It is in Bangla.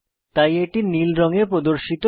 তাই এটি নীল রঙে প্রদর্শিত হয়